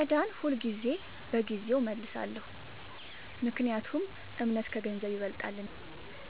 ዕዳን ሁልጊዜ በጊዜው እመልሳለሁ – ምክንያቱም እምነት ከገንዘብ ይበልጣልና።